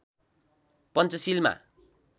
पञ्चशीलमा